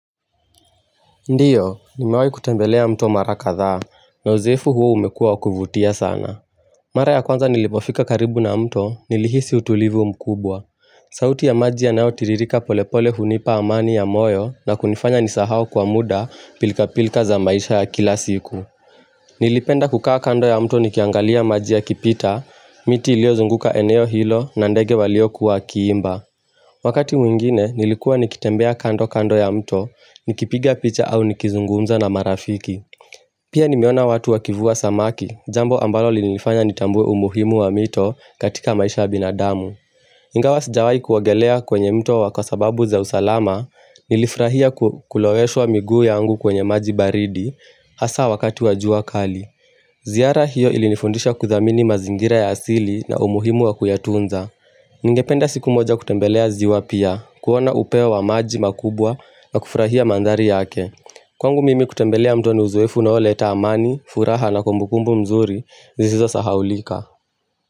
Ndiyo, nimewahi kutembelea mtu mara kadhaa, na uzoefu huo umekuwa wa kuvutia sana. Mara ya kwanza nilipofika karibu na mto, nilihisi utulivu mkubwa. Sauti ya maji yanayo tiririka polepole hunipa amani ya moyo na kunifanya nisahau kwa muda, pilka pilka za maisha ya kila siku. Nilipenda kukaa kando ya mto nikiangalia maji yakipita, miti ilio zunguka eneo hilo na ndege waliokuwa wakiimba. Wakati mwingine, nilikuwa nikitembea kando kando ya mto, nikipiga picha au nikizungumza na marafiki. Pia nimeona watu wakivua samaki, jambo ambalo limenifanya nitambue umuhimu wa mito katika maisha ya binadamu. Ingawa sijawahi kuogelea kwenye mto kwa sababu za usalama, nilifurahia kulowesha miguu yangu kwenye maji baridi, hasa wakati wa jua kali. Ziara hiyo ilinifundisha kuthamini mazingira ya asili na umuhimu wa kuyatunza. Ningependa siku moja kutembelea ziwa pia kuona upeo wa maji makubwa na kufurahia mandhari yake Kwangu mimi kutembelea mto ni uzoefu unaoleta amani furaha na kumbukumbu mzuri zisizo sahaulika.